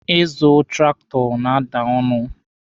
Ịzụ traktọ na-ada ọnụ.